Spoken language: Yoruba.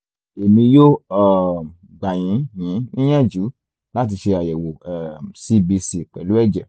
èmi yóò um gbà yín yín níyànjú láti ṣe àyẹ̀wò um cbc pẹ̀lú ẹ̀jẹ̀